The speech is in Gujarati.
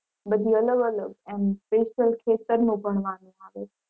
બધી અલગ અલગ એમ special ખેતર નું ભણવાનું આવે છે.